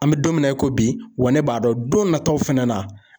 An bɛ don min na i ko bi, wa ne b'a dɔn don nataw fɛnɛ na